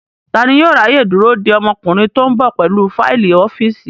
Tani yóò ráyè dúró de ọmọkùnrin tó ń bọ̀ pẹ̀lú fáìlì ọ́fíìsì?